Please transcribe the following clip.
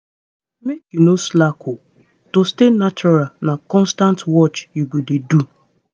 make you no slack o. to stay natural na constant watch you go dey do.